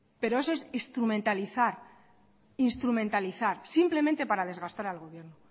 pero eso es instrumentalizar simplemente para desgastar al gobierno